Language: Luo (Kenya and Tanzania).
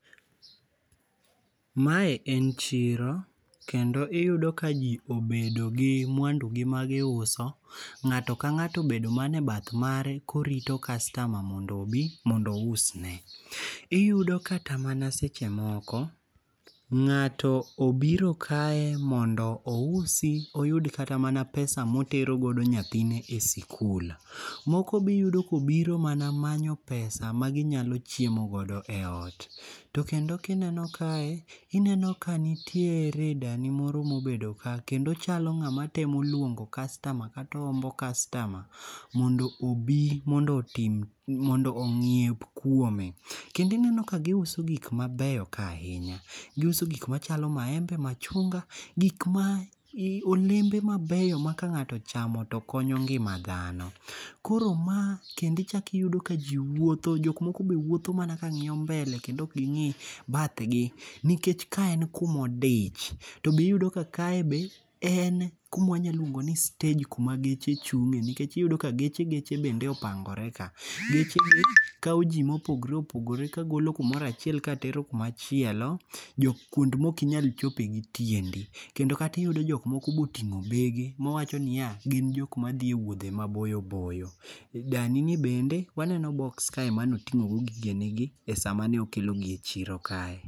Mae en chiro kendo iyudo kaji obedo gi mwandugi magiuso, ng'ato ka ng'ato obedo mana ebath mare korito customer mondo obi ousne. Iyudo kata mana seche moko ng'ato obiro kae mondo ousi iyud kata mana pesa motero godo nyathine e sikul, moko be iyudo ka obiro mana manyo pesa maginyalo chiemo godo eot. To kendo kineno kae, ineno ka nitiere dani moro mobedo ka kendo ochalo ng'ama temo luongo customer kata ohombo customer mondo obi mondo onyiep kuome. Kendo ineno ka giuso gik mabeyo kae ahinya. Giuso gik machalo maembe machunga gik ma olembe mabeyo ma ka ng'ato ochamo to koyo ngima dhano. Koro ma kendo ichako iyudo ka ji wuotho, jok moko be wuotho mana kang'iyo mbele kendo ok ging'i bathgi nikech kaen kuma odich to be iyudo ka kae be en kuma nyalo luongo ni stej kuma geche chung'ie nikech iyudo ka geche geche bende opangore ka. Gechegi kawo ji ma opogore opogore kagolo kumoro achiel ka tero kuma chielo. Kuma ok inyal chope gi tiendi kendo kata iyudo ka jok moko be oting'o bege gin jok madhi e wudhe maboyo boyo. Dani ni bende waneno boksi kae mane oting'o go gigene gi esa mane okelogi e chiro kae.